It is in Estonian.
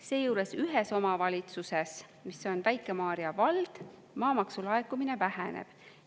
Seejuures ühes omavalitsuses, mis on Väike-Maarja vald, maamaksu laekumine väheneb.